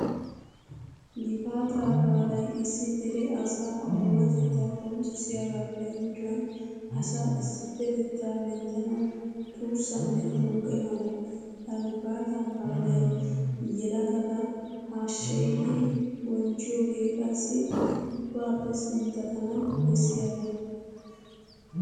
Gifaataa baalay issi dere asaa oonatettaa qonccissiyogaappe gujuwan asaa issippetettaa minttanawu tuussanne tuuqe mala. Ha gifaataa baalaa yelagata hasheyidi bonchchiyogee qassi ubbaappe sinttatana bessiyaba.